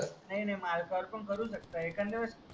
नाही मालकवर पण करू शकतात एकांद्यावेडेस